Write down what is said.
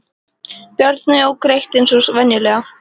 Bjarni ók greitt eins og venjulega.